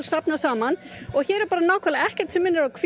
hér er ekkert sem minnir á hvítt brúðkaup eins og